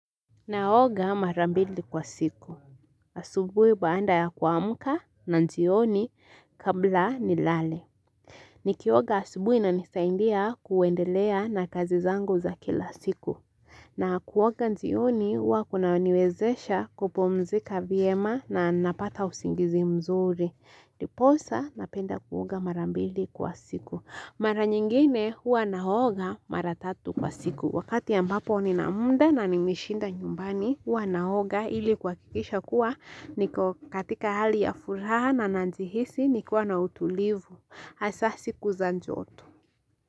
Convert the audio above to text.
Naoga mara mbili kwa siku. Asubui baada ya kuamka na jioni kabla ni lale. Nikioga asubui na inanisaidia kuendelea na kazi zangu za kila siku. Na kuoga jioni hua kunaniwezesha kupumzika vyema na napata usingizi mzuri. Ndiposa napenda kuoga mara mbili kwa siku. Mara nyingine hua naoga mara tatu kwa siku. Wakati ya ambapo ni na muda na nimeshinda nyumbani. Wanaoga ili kwa hakikisha kuwa niko katika hali ya furaha na jihisi nikuwa na utulivu hasa siku za joto.